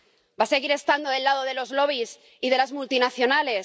¿Va a seguir estando del lado de los lobbies y de las multinacionales?